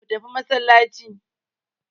Go to mosque.